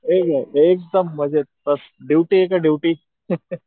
ठीके एकदम मजेत मस्त ड्युटी एक ड्युटी